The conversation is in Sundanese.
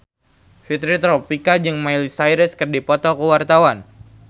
Fitri Tropika jeung Miley Cyrus keur dipoto ku wartawan